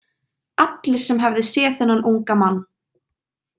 Allir sem hefðu séð þennan unga mann.